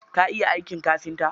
Ka iya aikin kafinta?